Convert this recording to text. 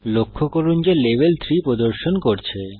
লক্ষ্য করুন যে লেভেল 3 প্রদর্শন করছে